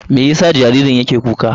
Me yasa jaririn yake kuka ne?